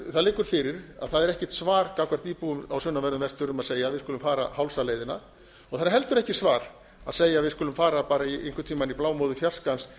það liggur fyrir að það er ekkert svar gagnvart íbúum á sunnanverðum vestfjörðum að segja við skulum fara hálsaleiðina það er heldur ekki svar að segja við skulum fara bara einhvern tíma í blámóðu